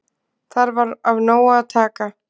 Þar var af nógu að taka.